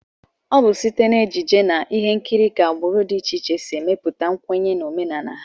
Ọ bụ site n'ejije na ihe nkiri ka agbụrụ dị iche iche si emepụta nkwenye na omenala ha